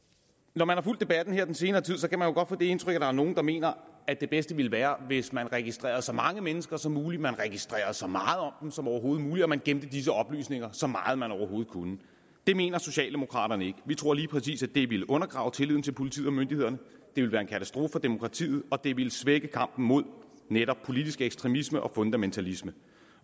når man har fulgt debatten her den senere tid kan man jo godt få det indtryk at der er nogle der mener at det bedste ville være hvis man registrerede så mange mennesker som muligt man registrerede så meget om dem som overhovedet muligt og at man gemte disse oplysninger så meget man overhovedet kunne det mener socialdemokraterne ikke vi tror lige præcis at det ville undergrave tilliden til politiet og myndighederne ville være en katastrofe for demokratiet og det ville svække kampen mod netop politisk ekstremisme og fundamentalisme